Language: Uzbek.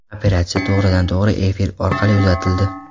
Operatsiya to‘g‘ridan-to‘g‘ri efir orqali uzatildi.